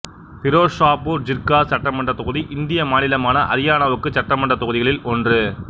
பிரோசாபூர் ஜிர்கா சட்டமன்றத் தொகுதி இந்திய மாநிலமான அரியானாவுக்கான சட்டமன்றத் தொகுதிகளில் ஒன்று